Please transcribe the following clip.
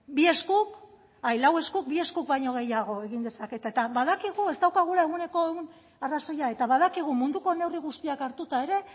lau eskuk bi eskuk baino gehiago egin dezakete eta badakigu ez daukagula ehuneko ehun arrazoia eta badakigu munduko neurri guztiak hartuta ere